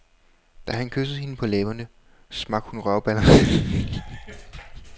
Da han kyssede hende på læberne, smak hun røvbalderne sammen, så hans briller blev knust.